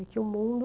E que o mundo...